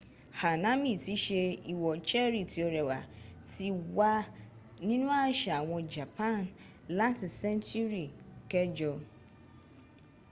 hanami tí í ṣe ìwò-cherry-tí-ó-rẹwà ti wà nínú àṣà àwọn japan láti sẹ́ńtúrì kẹjọ